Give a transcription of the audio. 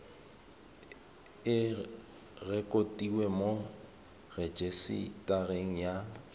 e rekotiwe mo rejisetareng ya